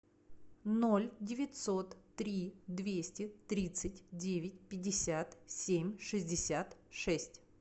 ноль девятьсот три двести тридцать девять пятьдесят семь шестьдесят шесть